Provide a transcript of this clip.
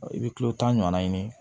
I bɛ kilo tan ɲɔn ɲini